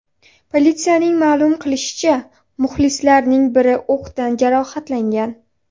Politsiyaning ma’lum qilishicha, muxlislarning biri o‘qdan jarohatlangan.